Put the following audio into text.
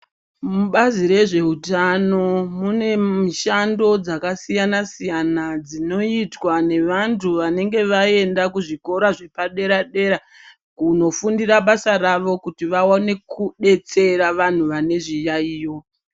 Mubazi rezveutano mune mushando dzakasiyana siyana dzinoitwa nevanthu vanenge vaenda kuzvikora zvepadera dera kunofundira basa rawo kuti vaone kudetsera vanthu vane zviyayiyo.